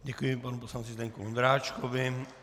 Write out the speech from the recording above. Děkuji panu poslanci Zdeňku Ondráčkovi.